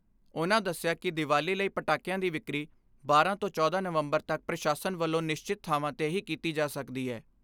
ਉਨ੍ਹਾਂ ਦੱਸਿਆ ਕਿ ਦੀਵਾਲੀ ਲਈ ਪਟਾਕਿਆਂ ਦੀ ਵਿਕਰੀ ਬਾਰਾਂ ਤੋਂ ਚੌਦਾਂ ਨਵੰਬਰ ਤੱਕ ਪ੍ਰਸ਼ਾਸਨ ਵੱਲੋਂ ਨਿਸ਼ਚਿਤ ਥਾਵਾਂ 'ਤੇ ਹੀ ਕੀਤੀ ਜਾ ਸਕਦੀ ਐ।